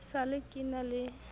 sa le ke na le